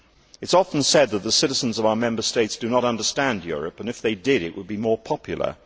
It is often said that the citizens of our Member States do not understand Europe, and, if they did, it would be more popular.